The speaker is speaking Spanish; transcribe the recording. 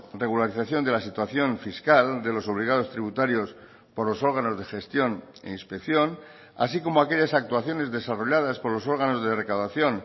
regularización de la situación fiscal de los obligados tributarios por los órganos de gestión e inspección así como aquellas actuaciones desarrolladas por los órganos de recaudación